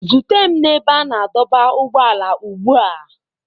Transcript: Zute m na ebe a na-adọba ụgbọala ugbu a!